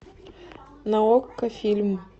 на окко фильм